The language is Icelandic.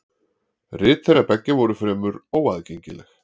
Rit þeirra beggja voru fremur óaðgengileg.